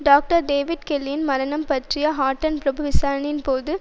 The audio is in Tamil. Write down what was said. டாக்டர் டேவிட் கெல்லியின் மரணம் பற்றிய ஹட்டன் பிரபு விசாரணையின்பொழுது